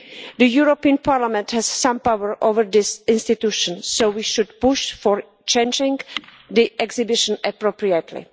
The European Parliament has some power over this institution, so we should push for changing the exhibition appropriately.